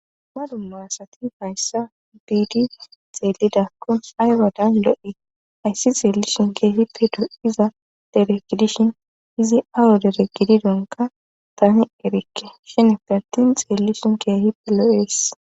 dumma asati hayssa biidi xeelidakko aywadan lo7e ayssi xeellishin keehippe do7iza dere gidishin izi awo dere gidi donka tani erikke shen partin xeellishin keehippe lo7ees